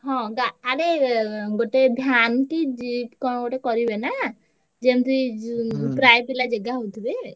ହଁ ଗା~ ଆରେ ଗୋଟେ van କି କଣ ଗୋଟେ କରିବେ ନା ଯେମତି ଯି~ ପ୍ରାୟ ପିଲା ଜାଗା ହଉଥିବେ।